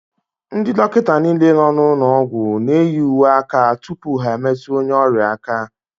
Ndị dọkịta nile nọ n'ụlọ ọgwụ n'eyi uwe aka tụpụ ha emetụ onye ọrịa aka.